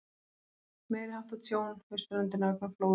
Meiriháttar tjón við ströndina vegna flóða.